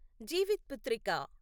Jivitputrika